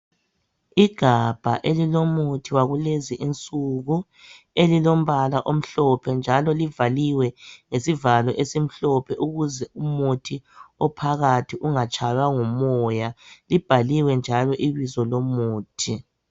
igabha elilomuthi wakulezi insuku elilombala omhlophe njalo livaliwe ngesvalo esimhlophe ukuze umuthi ophakathi ungatshaywa ngumoya libhaliwe njalo ibizo lomuthi